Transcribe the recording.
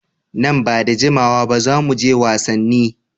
Nan ba da jimawa ba za mu je wasanni.